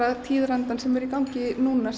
tíðarandi sem er í gangi núna